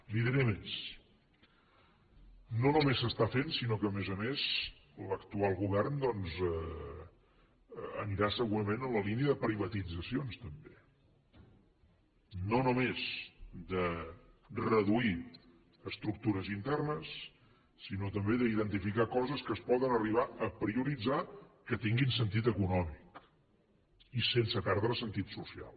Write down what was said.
li diré més no només s’està fent sinó que a més a més l’actual govern doncs anirà segurament en la línia de privatitzacions també no només de reduir estructures internes sinó també d’identificar coses que es poden arribar a prioritzar que tinguin sentit econòmic i sense perdre sentit social